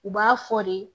U b'a fɔ de